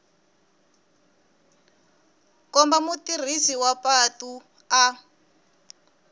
komba mutirhisi wa patu a